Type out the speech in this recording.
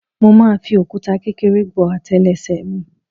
Mo máa fi òkúta kékeré gbó àtélé ẹsẹ̀ mi.